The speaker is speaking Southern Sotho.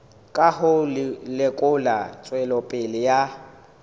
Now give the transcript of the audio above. ka ho lekola tswelopele ya